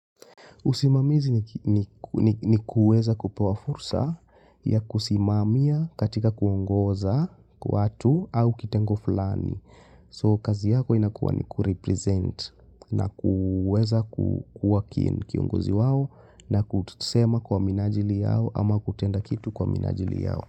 Usimamizi ni kuweza kupewa fursa ya kusimamia katika kuongoza watu au kitengo flani. So, kazi yako inakuwa ni kurepresent na kuweza kuwa kiongozi wao na kusema kwa minajili yao ama kutenda kitu kwa minajili yao.